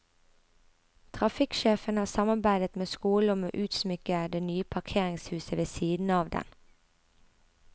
Trafikksjefen har samarbeidet med skolen om å utsmykke det nye parkeringshuset ved siden av den.